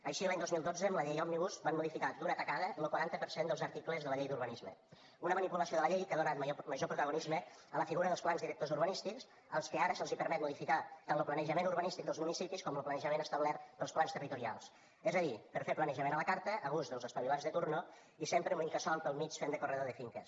així l’any dos mil dotze amb la llei òmnibus van modificar d’una tacada lo quaranta per cent dels articles de la llei d’urbanisme una manipulació de la llei que ha donat major protagonisme a la figura dels plans directors urbanístics als que ara se’ls permet modificar tant lo planejament urbanístic dels municipis com lo planejament establert pels plans territorials és a dir per fer planejament a la carta a gust dels espavilats de torn i sempre amb l’incasòl pel mig fent de corredor de finques